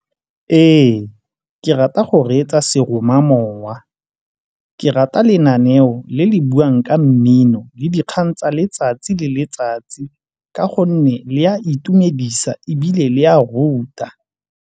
Ee, ke rata go reetsa seromamowa. Ke rata lenaneo le le buang ka mmino le dikgang tsa letsatsi le letsatsi ka gonne le a itumedisa ebile le a ruta.